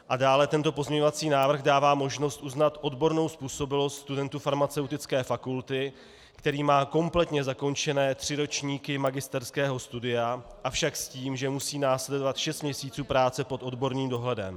A dále tento pozměňovací návrh dává možnost uznat odbornou způsobilost studentu farmaceutické fakulty, který má kompletně zakončené tři ročníky magisterského studia, avšak s tím, že musí následovat šest měsíců práce pod odborným dohledem.